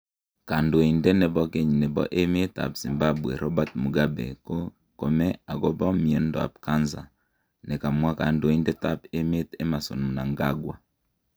Kandoindet nekibo keny nebo emet ab Zimbabwe Robert Mugabe ko komee akoba miondo ab kanza, ne kamwa Kandoindet ab emet Emmerson Mnanga